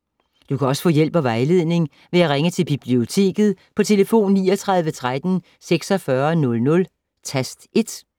Du kan også få hjælp og vejledning ved at ringe til Biblioteket på tlf. 39 13 46 00, tast 1.